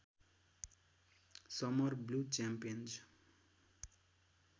summer blue च्याम्पेन्ज